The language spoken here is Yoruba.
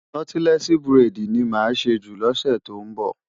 Nọ́tílẹ́ẹ̀sì buredì ni a máa ṣe jù lọ́sè tó ń bọ̀.